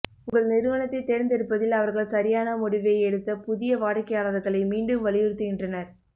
உங்கள் நிறுவனத்தைத் தேர்ந்தெடுப்பதில் அவர்கள் சரியான முடிவை எடுத்த புதிய வாடிக்கையாளர்களை மீண்டும் வலியுறுத்துகின்றனர்